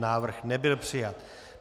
Návrh nebyl přijat.